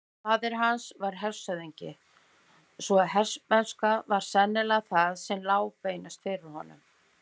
Faðir hans var hershöfðingi svo hermennska var sennilega það sem lá beinast fyrir honum.